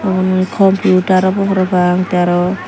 umm computar obow parapang te aro.